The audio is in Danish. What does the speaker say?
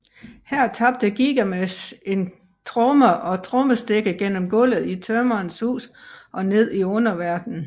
Her tabte Gilgamesh en tromme og trommestikke gennem gulvet i tømrerens hus og ned i underverdenen